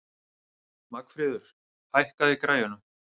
Magnfríður, hækkaðu í græjunum.